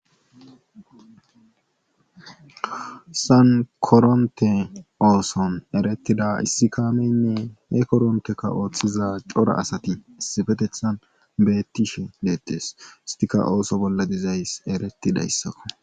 Hayssan korontte oosona erettida issi kaameyynne he korontteka oothiza cora asati beettishe deetees esttika ooso bolla dizayssi erettidayssako.